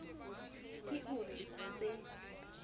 ke ho re ho se